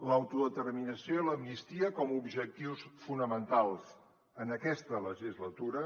l’autodeterminació i l’amnistia com a objectius fonamentals en aquesta legislatura